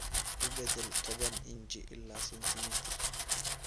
u beddel toban inji ilaa sentimitir